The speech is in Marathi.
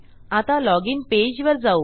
आता लॉजिन पेजवर जाऊ